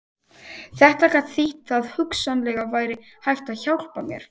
Þetta gat þýtt að hugsanlega væri hægt að hjálpa mér.